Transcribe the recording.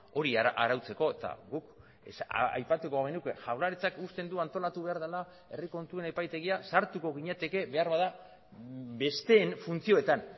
hori arautzeko eta guk aipatuko genuke jaurlaritzak usten du antolatu behar dela herri kontuen epaitegia sartuko ginateke beharbada besteen funtzioetan